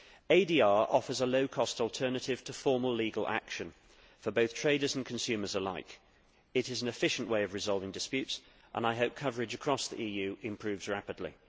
ADR offers a low cost alternative to formal legal action for both traders and consumers alike. It is an efficient way of resolving disputes, and I hope coverage across the EU improves rapidly.